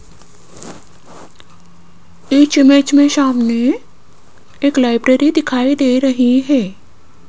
इस इमेज में सामने एक लाइब्रेरी दिखाई दे रही है।